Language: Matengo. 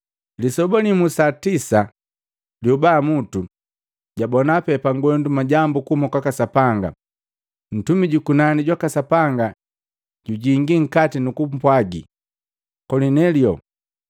Lisoba limu sa tisa lyobamutu, jabona pee pangwendu majambu kuhuma kwaka Sapanga ntumi jukunani jwaka Sapanga jujingi nkati nukumpwagi, “Kolinelio!”